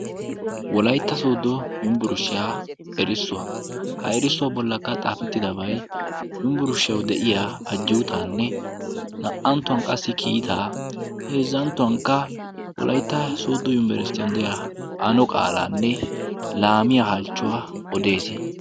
Wolaytta soddo yumbburushshiyaa erissuwaa ha erissuwaa bollakka xaafettidabay yumbburushshiyawu de'iya ajjuutaanne naa"anttuwan qassi kiitaa heezzanttuwankka wolaytta soddo yunibarsitiyon de'iya ano qaalaanne laamiyaa halchchuwaa odees.